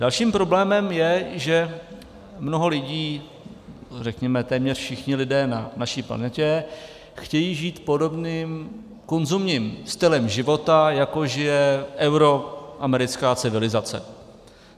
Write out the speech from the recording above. Dalším problémem je, že mnoho lidí, řekněme téměř všichni lidé na naší planetě chtějí žít podobným konzumním stylem života, jako žije euroamerická civilizace.